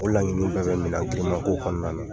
O laɲiniw bɛɛ bɛ ye man k'o kɔnɔna na.